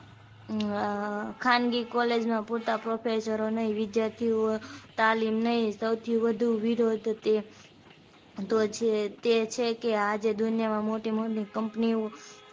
ખાનગી college માં પૂરતા પ્રોફેસરો નહિ વિદ્યાર્થીઓ તાલીમ નહિ સૌથી વધુ વિરોધ તો છે તે છે કે આ જે દુનિયામાં મોટી મોટી company ઓ